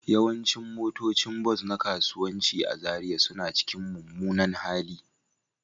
Yawancin motocin bas na kasuwanci a Zariya suna cikin mummunan hali